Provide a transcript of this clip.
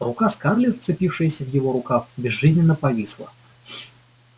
рука скарлетт вцепившаяся в его рукав безжизненно повисла